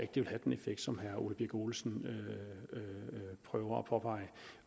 det vil have den effekt som herre ole birk olesen prøver at påpege